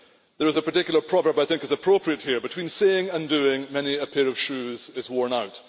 There is a particular proverb I think is appropriate here Between saying and doing, many a pair of shoes is worn out'.